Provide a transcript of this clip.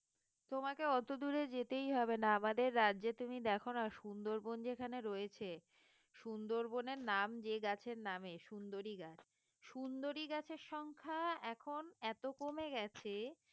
তোমাকে অত দূরে যেতেই হবে না আমাদের রাজ্যে তুমি দেখো না সুন্দরবন যেখানে রয়েছে সুন্দরবনের নাম যে গাছের নামে সুন্দরী গাছ সুন্দরী গাছের সংখ্যা এখন এত কমে গেছে